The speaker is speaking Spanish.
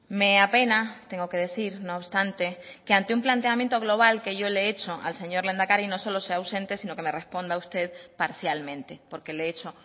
me apena tengo que decir no obstante que ante un planteamiento global que yo le he hecho al señor lehendakari no solo se ausente sino que me responda usted parcialmente porque le he hecho